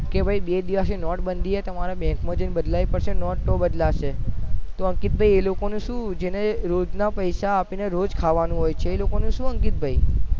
કે બે દિવસ થી નોટ બાંધી છે તો તમારે bank માં જઈને બદલાવી પડશે તો બદલાશે તો નોટ બદલાશે તો અંકિત ભાઈ એ લોકો ને શુ જેને રોજ ના પૈસા આપી ને રોજ ખાવાનું હોય છે એ લોકો નું શુ અંકિત ભાઈ